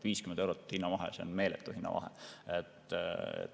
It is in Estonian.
50 eurot on hinnavahe, see on meeletu hinnavahe.